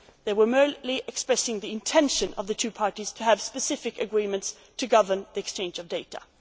and the US. It merely expressed the intention of the two parties to have specific agreements to govern the exchange